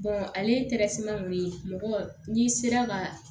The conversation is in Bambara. ale kɔni mɔgɔ n'i sera ka